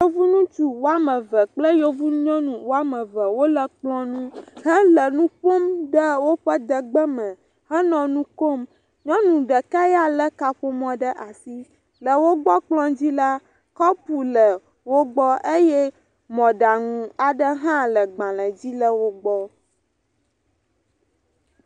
Yevu ŋutsu woame ve kple yevu nyɔnu woame ve wole kplɔ nu hele nu ƒom le wo de gbe me henɔ nu kom. Nyɔnu ɖeka ya lé kaƒomɔ ɖe asi, le wo gbɔ kplɔ dzi la, kɔpu le wo gbɔ eye mɔɖaŋu aɖe hã le gbalẽ dzile wo gbɔ.